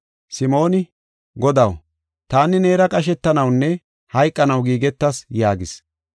Simooni, “Godaw, taani neera qashetanawunne hayqanaw giigetas” yaagis.